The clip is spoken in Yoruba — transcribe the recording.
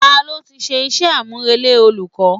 Ta ló ti ṣe iṣẹ́ àmùrè lé olùkọ́?